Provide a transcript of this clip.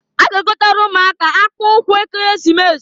A ga-egotalụ ụmụaka akpụụkwụ Ekeresimesi.